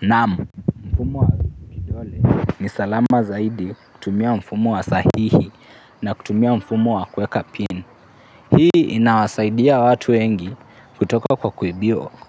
Naamu, mfumo wa kidole ni salama zaidi kutumia mfumo wa sahihi na kutumia mfumo wa kuweka PIN. Hii inawasaidia watu wengi kutoka kwa